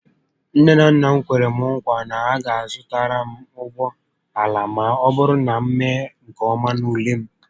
Nne na nna m kwere m nkwa ịzụtara m ụgbọala ma ọbụrụ na m mee nke ọma n'ule m